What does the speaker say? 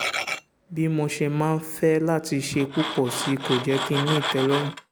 bí mo ṣe máa ń fẹ́ láti ṣe púpọ̀ sí i kò jẹ́ kí n ní ìtẹ́lọ́rùn